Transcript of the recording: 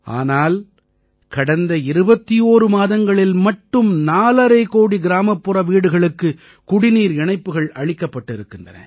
ஆனால் கடந்த 21 மாதங்களில் மட்டும் நாலரை கோடிக் கிராமப்புற வீடுகளுக்கு குடிநீர் இணைப்புகள் அளிக்கப்பட்டிருக்கின்றன